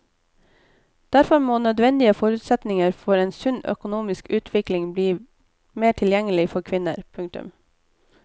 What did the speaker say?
Derfor må nødvendige forutsetninger for en sunn økonomisk utvikling bli mer tilgjengelig for kvinner. punktum